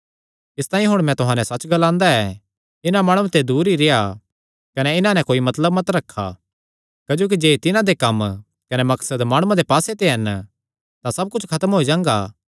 इसतांई हुण मैं तुहां नैं सच्च ग्लांदा ऐ इन्हां माणुआं ते दूर ई रेह्आ कने इन्हां नैं कोई मतलब मत रखा क्जोकि जे तिन्हां दे कम्म कने मकसद माणुआं दे पास्से ते हन तां सब कुच्छ खत्म होई जांगा